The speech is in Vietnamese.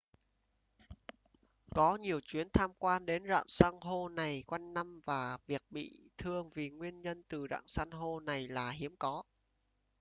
có nhiều chuyến tham quan đến rạn san hô này quanh năm và việc bị thương vì nguyên nhân từ rạn san hô này là hiếm có